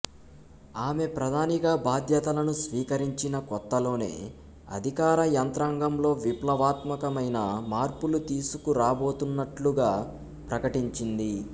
ఆమె ప్రధానిగా బాధ్యతలను స్వీకరించిన కొత్తలోనే అధికార యంత్రాంగంలో విప్లవాత్మకమైన మార్పులు తీసుకురాబోతున్నట్లుగా ప్రకటించింది